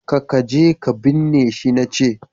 ka kaje ka binne shi na ce!